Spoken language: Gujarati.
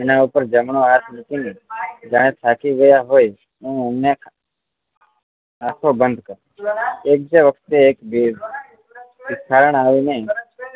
એના ઉપર જમણો હાથ મૂકી ને જાણે થાકી ગયા હોય એમ એમણે આંખો બંધ કરી એક જે વખતે એક ભિખારણ આવી ને